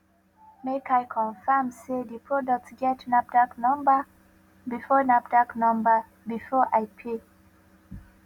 make i confirm sey di product get nafdac number before nafdac number before i pay